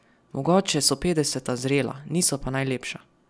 Mogoče so petdeseta zrela, niso pa najlepša!